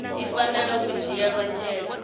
i fanela u dzhiela nzhele